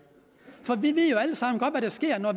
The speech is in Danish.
vi ved jo alle sammen godt hvad der sker når